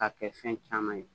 K'a kɛ fɛn caman ye